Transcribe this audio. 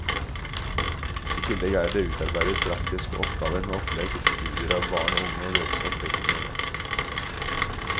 I tillegg er det utarbeidet praktiske oppgaver med opplegg til studier av barn og unge og deres oppvekstmiljø.